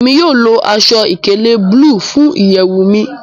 Emi yóò lo aṣọ-ìkéle bulu fun iyẹwu mi